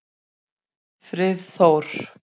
Friðþór